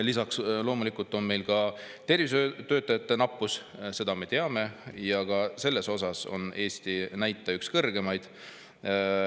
Lisaks loomulikult on meil ka tervishoiutöötajate nappus, seda me teame, ja ka selles osas on Eesti näitaja üks kõrgemaid.